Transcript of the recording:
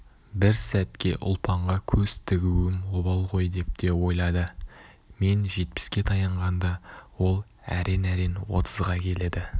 бір сәтке ұлпанға көз тігуім обал ғой деп те ойлады мен жетпіске таянғанда ол әрең-әрең отызға келеді